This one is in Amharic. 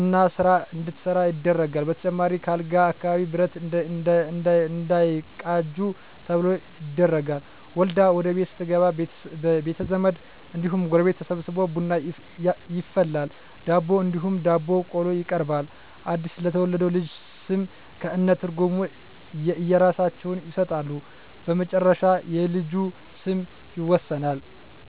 እና ስራ እንዳትሠራ ይደረጋል በተጨማሪም ከአልጋ አካባቢ ብረት እንዳይቃጁ ተብሎ ይደረጋል። ወልዳ ወደቤት ስትገባ ቤተዘመድ እንዲሁም ጎረቤት ተሠብስቦ ቡና ይፈላል ዳቦ እንዲሁም ዳቦ ቆሎ ይቀርባል አድስ ለተወለደው ልጅ ስም ከእነ ትርጉም የእየራሳቸውን ይሠጣሉ በመጨረሻ የልጁ ስም ይወሰናል።